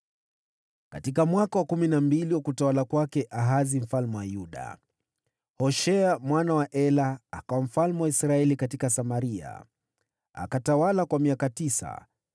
Katika mwaka wa kumi na mbili wa utawala wa Ahazi mfalme wa Yuda, Hoshea mwana wa Ela akawa mfalme wa Israeli katika Samaria, akatawala kwa miaka tisa.